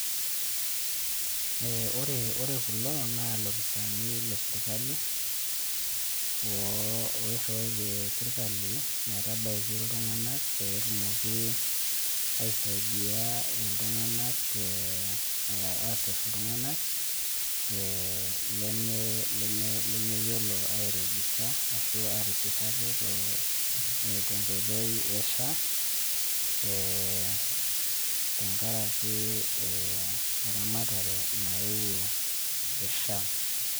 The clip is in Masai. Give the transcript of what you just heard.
Ee ore kulo naa ilopiisaaini lesirkali, oiriwaitie sirkali metabaiki Iltunganak peetumoki aisaidia Iltunganak, aasirr iltunganak lemeyiolo airijister ashu atisir ate tenkoito e SHA ee tenkaraki e eramatare nayeou e SHA.